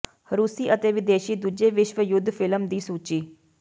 ਰੂਸੀ ਅਤੇ ਵਿਦੇਸ਼ੀ ਦੂਜੇ ਵਿਸ਼ਵ ਯੁੱਧ ਫਿਲਮ ਦੀ ਸੂਚੀ